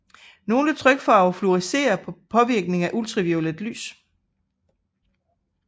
Nogle trykfarver fluorescerer ved påvirkning af ultraviolet lys